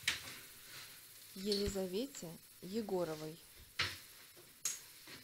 елизавете егоровой